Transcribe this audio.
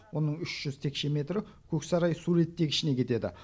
оның үш жүз текше метрі көксарай су реттегішіне кетеді